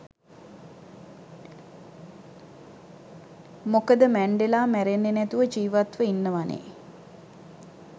මොකද මැන්ඩෙලා මැරෙන්නෙ නැතුව ජීවත්ව ඉන්නවානේ.